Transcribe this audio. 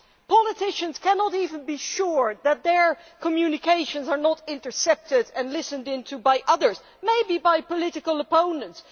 Politicians cannot even be sure that their communications are not intercepted and listened to by others maybe by political opponents.